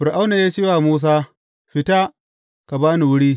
Fir’auna ya ce wa Musa, Fita, ka ba ni wuri!